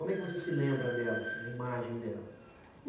Como é que você se lembra dela, assim, a imagem dela?